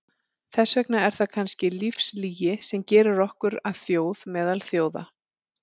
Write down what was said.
Þess vegna er það kannski lífslygi sem gerir okkur að þjóð meðal þjóða.